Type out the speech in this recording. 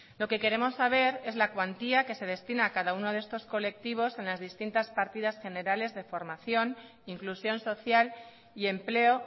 lo que queremos saber es la cuantía que se destina a cada uno de estos colectivos en las distintas partidas generales de formación inclusión social y empleo